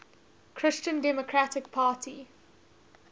christian democratic party